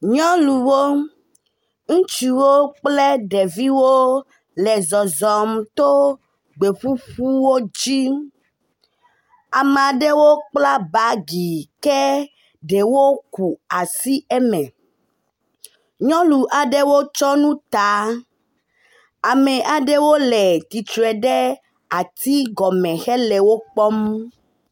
Nyɔnuwo ŋutsuwo kple ɖeviwo le zɔzɔm to gbeƒuƒuwo dzi. Ame aɖewo kpla bagi ke ɖewo ku asi eme. Nyɔnu aɖewo tsɔ nu ta, ame aɖewo le tsitre ɖe atigɔme hele wo kpɔm.